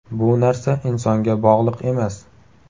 Bu narsa insonga bog‘liq emas.